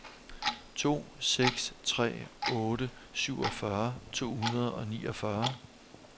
to seks tre otte syvogfyrre to hundrede og niogfyrre